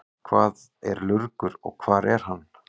Hvað er lurgur og hvar er hann?